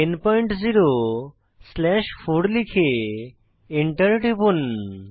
100 slash 4 লিখে enter টিপুন